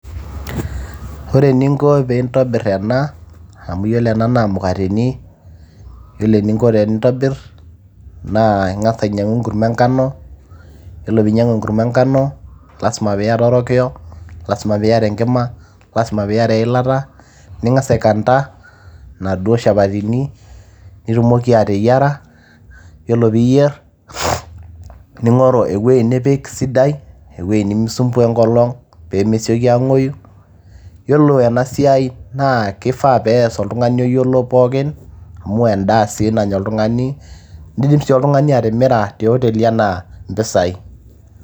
Ore eninko piintobirr ena amu yiolo ena naa mukateni, yiolo eninko tenintobirr naa ing'as ainyiang'u enkurma enkano yiolo piinyiang'u enkurma enkano lasima piiyata orokiyo, lasima piiyata enkima, lasima piiyata enkima ning'as aikanta inaduo shapatini piitumoki ateyiara yiolo piiyierr ning'oru ewuei nipik sidai ewuei nimikisumbua enkolong peemesioki aang'oyu yiolo ena siai naa kifaa pees oltung'ani oyiolo pookin amu endaa sii nanya oltung'ani nidim sii oltung'ani atimira te oteli anaa mpisai.